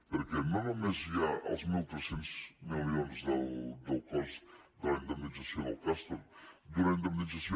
perquè no només hi ha els mil tres cents milions del cost de la indemnització del castor d’una indemnització